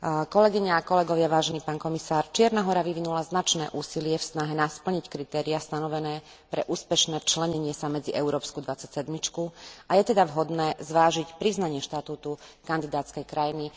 Kolegyne a kolegovia, pán komisár, Čierna Hora vyvinula značné úsilie v snahe splniť kritériá stanovené pre úspešné začlenenie sa medzi európsku dvadsaťsedmičku, a je teda vhodné zvážiť priznanie štatútu kandidátskej krajiny.